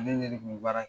Ne de kun bɛ baara kɛ